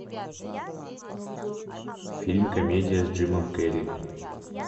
фильм комедия с джимом керри